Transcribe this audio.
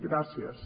gràcies